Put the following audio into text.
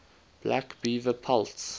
black beaver pelts